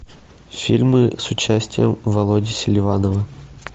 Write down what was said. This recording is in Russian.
фильмы с участием володи селиванова